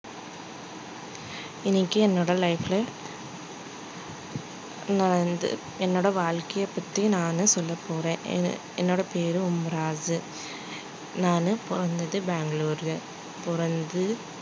இன்னைக்கு என்னோட life ல நான் என்னோட வாழ்க்கைய பத்தி நானு சொல்லப்போறேன் என்னோட பேரு நானு பொறந்தது பெங்களூருல பொறந்து